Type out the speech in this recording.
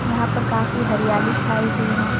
यहां पर काफी हरियाली छाई हुई है।